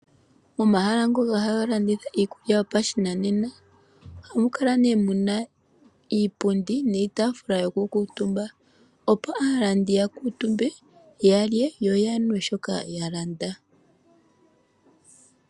Omahala ngoka haga landitha iikulya yopashinanena, oha mu kala ne mu na iipundi niitaafula yoku kuutumba, opo aalandi ya kuutumbe ya lye, yo ya nwe shoka ya landa.